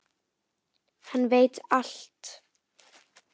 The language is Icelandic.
Hann veit allt!